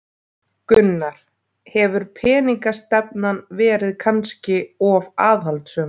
Gunnar: Hefur peningastefnan verið kannski of aðhaldssöm?